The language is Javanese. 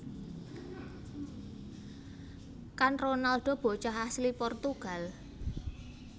Kan Ronaldo bocah asli Portugal